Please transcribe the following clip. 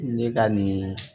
Ne ka nin